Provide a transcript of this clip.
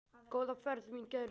Góða ferð mín kæru.